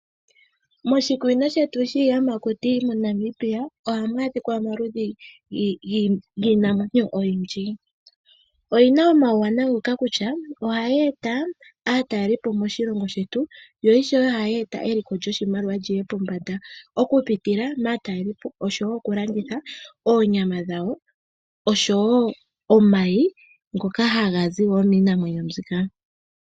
Moshikunino shetu shiiyamakuti moNamibia, ohamu adhika omaludhi giinamwenyo oyindji, Oyina omauwanawa ngoka kutya ohayi eta aatalelipo moshilongo shetu. Yo ishewe ohayi eta eliko lyoshimaliwa lyiye pombanda oku pitila maatalelipo osho wo oku landitha oonyama dhawo. Osho wo omayi ngoka haga zi wo miinamwenyo mbika.